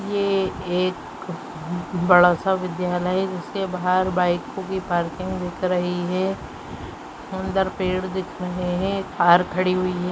ये एक बड़ा सा विद्यालय है जिसके बाहर बाइकों की पार्किंग दिख रही है। सुंदर पेड़ दिख रहे हैं। कार खड़ी हुई है।